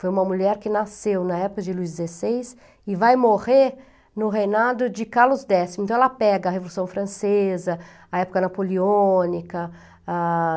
Foi uma mulher que nasceu na época de Luís dezesseis e vai morrer no reinado de Carlos décimo. Então, ela pega a Revolução Francesa, a época napoleônica. Ah...